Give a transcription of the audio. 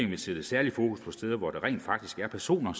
vil sætte særlig fokus på steder hvor der rent faktisk er personer